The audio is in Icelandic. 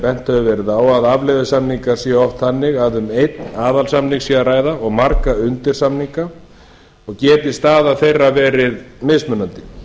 bent hefur verið á að afleiðusamningar séu oft þannig að um einn aðalsamning sé að ræða og marga undirsamninga og geti staða þeirra verið mismunandi